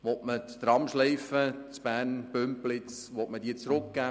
Will man die Tramschleife Bern−Bümpliz zurückgeben?